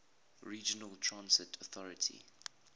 regional transit authority